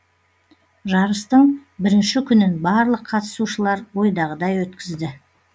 жарыстың бірінші күнін барлық қатысушылар ойдағыдай өткізді